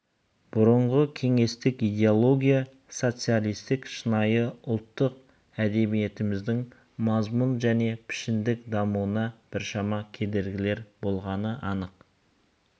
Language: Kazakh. бұрынғы кеңестік идеология социалистік шынайы ұлттық әдебиетіміздің мазмұн және пішіндік дамуына біршама кедергілер болғаны анық